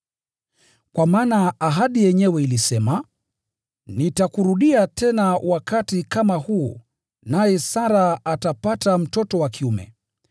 Kwa maana ahadi yenyewe ilisema, “Nitakurudia tena wakati kama huu, naye Sara atapata mtoto wa kiume.”